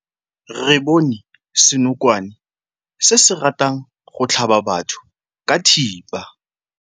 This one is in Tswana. Re bone senokwane se se ratang go tlhaba batho ka thipa.